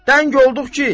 Təng olduq ki.